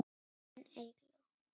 Þín Eygló.